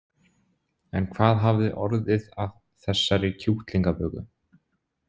En hvað hafði orðið af þessari kjúklingaböku?